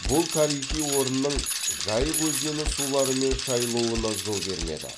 бұл тарихи орынның жайық өзені суларымен шайылуына жол бермеді